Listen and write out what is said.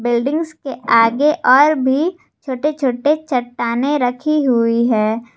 Buildings के आगे और भी छोटे छोटे चट्टानें रखी हुई है।